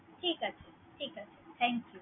ঠিক আছে, ঠিক আছে। thank you ।